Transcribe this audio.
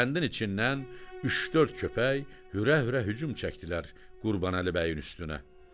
Kəndin içindən üç-dörd köpək hürə-hürə hücum çəkdilər Qurbanəli bəyin üstünə.